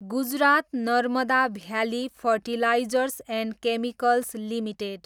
Gujarat Narmada valley fertilizers and chemicals limited